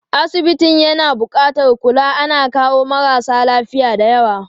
Asibitin na buƙatar kula, ana kawo marasa lafiya dayawa.